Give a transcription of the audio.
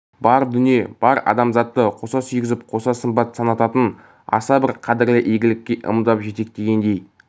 бар дүние бар адамзатты қоса сүйгізіп қоса қымбат санататын аса бір қадірлі игілікке ымдап жетектегендей